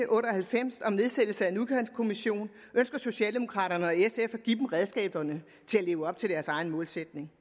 otte og halvfems om nedsættelse af en udkantskommission ønsker socialdemokraterne og sf at give dem redskaberne til at leve op til deres egen målsætning